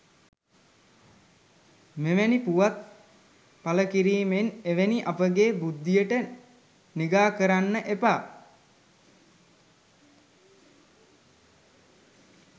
මෙවැනි පුවත් පලකිරීමෙන් එවැනි අපගේ බුද්ධියට නිගා කරන්න එපා